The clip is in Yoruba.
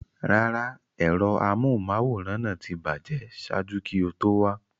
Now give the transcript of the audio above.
Rárá, ẹ̀rọ amóhùnmáwòrán náà ti bàjẹ́ ṣáájú kí o tó wá.